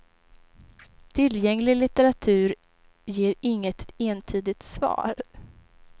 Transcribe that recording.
Tillgänglig litteratur ger inget entydigt svar.